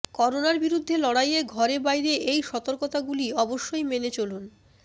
করোনার বিরুদ্ধে লড়াইয়ে ঘরে বাইরে এই সতর্কতাগুলি অবশ্যই মেনে চলুন